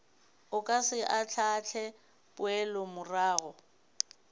o ka se ahlaahle poelomorago